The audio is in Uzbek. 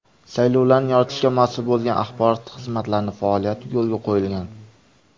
Saylovlarni yoritishga mas’ul bo‘lgan axborot xizmatlarining faoliyati yo‘lga qo‘yilgan.